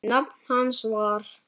Nafn hans var